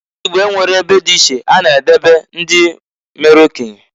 Ndị Igbo enweghi ebe dị iche ha na edebe ndị mere okenye.